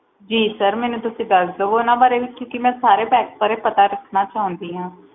ਜੀ sir ਤੁਸੀਂ ਮੈਨੂੰ ਦੱਸ ਦੋ ਓਹਨਾ ਵਾਰੇ ਵੀ ਕਿਉਕਿ ਮਈ ਓਹਨਾ ਬਾਰੇ ਵੀ ਪਤਾ ਕਰਨਾ ਚਾਹੁਣੀ ਆ